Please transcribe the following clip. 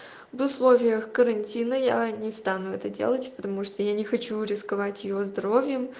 в условиях карантина я не стану это делать потому что я не хочу рисковать её здоровьем